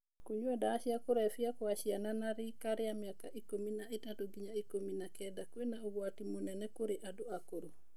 Kũnyua ndawa cia kũlevya kwa ciana na rika ria mĩaka ikũmi na ĩtatũ ginya ikũmi na kenda kwĩna ũgwati mũnene kũrĩ andũ akũrũ.